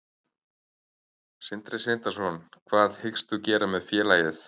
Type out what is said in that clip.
Sindri Sindrason: Hvað hyggst þú gera með félagið?